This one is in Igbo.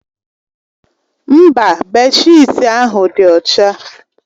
Mba, bèdshịtị ahụ dị ọcha.